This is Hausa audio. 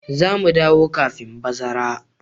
Za mu dawo kafin bazara.